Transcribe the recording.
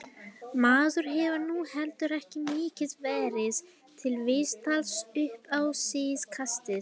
Maður hefur nú heldur ekki mikið verið til viðtals upp á síðkastið.